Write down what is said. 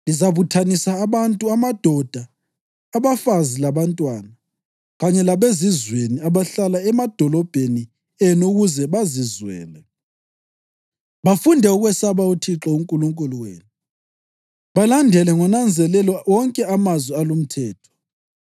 Lizabuthanisa abantu, amadoda, abafazi labantwana, kanye labezizweni abahlala emadolobheni enu ukuze bazizwele bafunde ukwesaba uThixo uNkulunkulu wenu balandele ngonanzelelo wonke amazwi alumthetho.